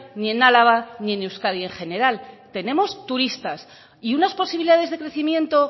ni en álava ni en euskadi en general tenemos turistas y unas posibilidades de crecimiento